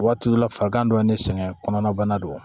Waati dɔ la fakan dɔ ye ne sɛgɛn kɔnɔna bana don